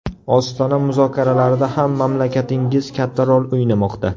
Ostona muzokaralarida ham mamlakatingiz katta rol o‘ynamoqda.